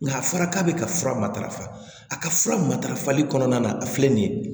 Nka a fɔra k'a bɛ ka fura matarafa a ka fura ma tarafali kɔnɔna na a filɛ nin ye